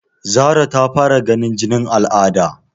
Zara ta fara ganin jinin al'ada?